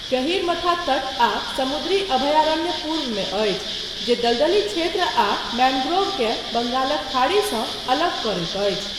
गहीरमथा तट आ समुद्री अभयारण्य पूर्वमे अछि, जे दलदली क्षेत्र आ मैंग्रोव केँ बंगालक खाड़ीसँ अलग करैत अछि।